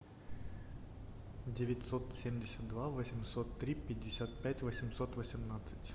девятьсот семьдесят два восемьсот три пятьдесят пять восемьсот восемнадцать